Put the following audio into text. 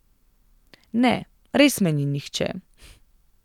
Ne, res me ni nihče.